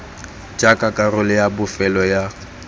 jaaka karolo ya bofelo ya